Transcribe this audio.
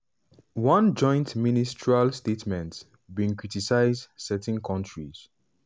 one joint ministerial statement bin criticise "certain kontris'